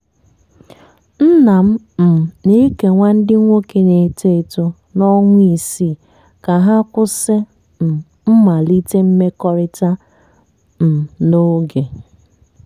nna m um na-ekewa ndị nwoke na-eto eto na ọnwa isii ka ha kwụsị um mmalite mmekọrịta um n'oge.